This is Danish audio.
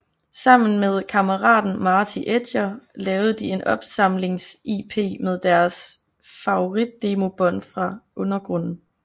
Sammen med kammeraten Marty Edger lavede de en opsamlings lp med deres favorit demobånd fra undergrunden